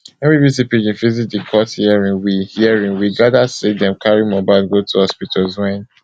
wen bbc pidgin visit di court hearing we hearing we gada say dem carry mohbad go two hospitals wen